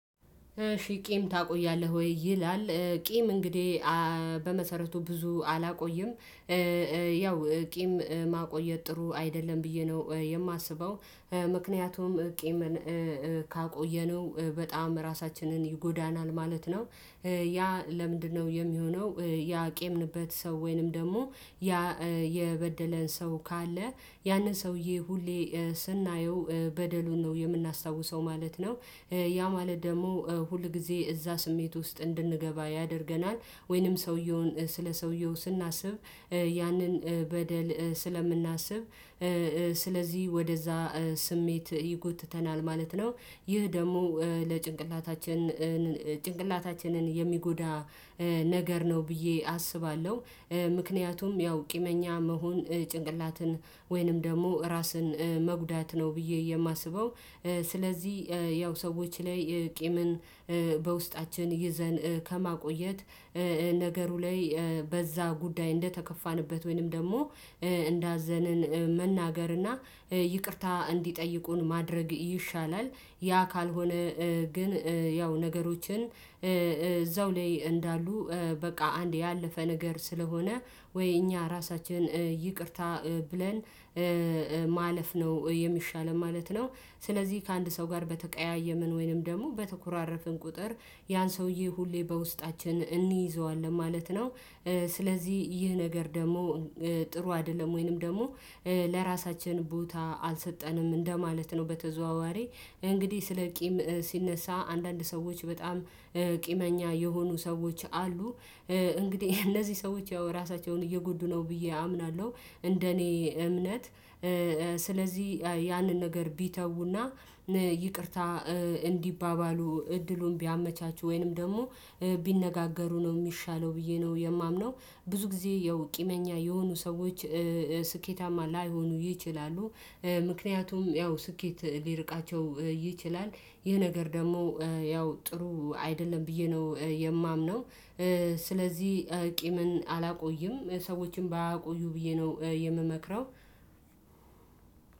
እሺ ቂም ታቆያለህ ወይ ይላል? ቂም እንግዲህ በመሰረቱ ብዙ አላቆይም። ቂም ማቆየት ጥሩ አይደለም ብዬ ነው የማስበው ምክንያቱም ቂምን ካቆየነው በጣም ራሳችንን ይጎዳናል ማለት ነው። ያ ለምንድነው የሚሆነው? ያቄምንበት ሰው ወይንም ደግሞ ያ የበደለን ሰው ካለ ያንን ሰውዬ ሁሌ ስናየው በደሉን ነው የምናስታውሰው ማለት ነው። ያ ማለት ደግሞ ሁል ጊዜ እዛ ስሜት ውስጥ እንድንገባ ያደርገናል። ወይንም ሰውየውን ስለ ሰውየው ስናስብ ያንን በደል ስለምናስብ። ስለዚህ ወደዛ ስሜት ይጎትተናል ማለት ነው። ይህ ደግሞ ለጭንቅላታችን ጭንቅላታችንን የሚጎዳ ነገር ነው ብዬ አስባለሁ። ምክንያቱም ያው ቂመኛ መሆን ጭንቅላትን ወይንም ደግሞ ራስን መጉዳት ነው ብዬ የማስበው። ስለዚህ ያው ሰዎች ላይ ቂምን በውስጣችን ይዘን ከማቆየት ነገሩ ላይ በዛ ጉዳይ እንደተከፋንበት ወይንም ደግሞ እንዳዘንን መናገር እና ይቅርታ እንዲጠይቁን ማድረግ ይሻላል። ያ ካልሆነ ግን ያው ነገሮችን እዛው ላይ እንዳሉ በቃ አንድ ያለፈ ነገር ስለሆነ ወይ እኛ ራሳችንን ይቅርታ ብለን ማለፍ ነው የሚሻለው ማለት ነው። ስለዚህ ከአንድ ሰው ጋር በተቀያየምን ወይንም ደግሞ በተኮራረፍን ቁጥር ያን ሰውዬ ሁሌ በውስጣችን እንይዘዋለን ማለት ነው። ስለዚህ ይህ ነገር ደግሞ ጥሩ አይደለም ወይንም ደግሞ ለራሳችን ቦታ አልሰጠንም እንደማለት ነው። በተዘዋዋሪ እንግዲህ ስለ ቂም ሲነሳ አንዳንድ ሰዎች በጣም ቂመኛ የሆኑ ሰዎች አሉ እንግዲህ እነዚህ ሰዎች ያው ራሳቸውን እየጎዱ ነው ብዬ አምናለሁ። እንደኔ እምነት ያንን ነገር ቢተውና ይቅርታ እንዲባባሉ እድሉን ቢያመቻቹ ወይንም ደግሞ ቢነጋገሩ ነው የሚሻለው ብዬ ነው የማምነው። ብዙ ጊዜ ያው ቂመኛ የሆኑ ሰዎች ስኬታማ ላይሆኑ ይችላሉ። ምክንያቱም ያው ስኬት ሊርቃቸው ይችላል። ይህ ነገር ደግሞ ያው ጥሩ አይደለም ብዬ ነው የማምነው። ስለዚህ ቂምን አላቆይም ሰዎችን ባያቆዩ ብዬ ነው የምመክረው።